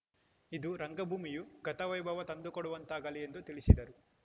ಇದು ರಂಗಭೂಮಿಯೂ ಗತವೈಭವ ತಂದುಕೊಡುವಂತಾಗಲಿ ಎಂದು ತಿಳಿಸಿದರು